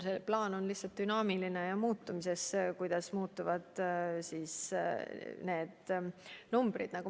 See plaan on lihtsalt dünaamiline ja muutub vastavalt sellele, kuidas muutuvad need numbrid.